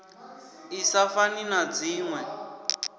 i sa fani na dzinwe